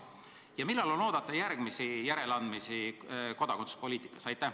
Ja millal on oodata kodakondsuspoliitikas järgmisi järeleandmisi?